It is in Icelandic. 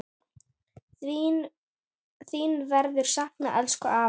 Þín verður saknað, elsku afi.